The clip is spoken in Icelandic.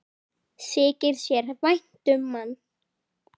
Þykir þér vænt um hann?